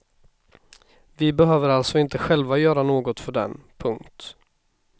Vi behöver alltså inte själva göra något för den. punkt